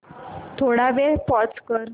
थोडा वेळ पॉझ कर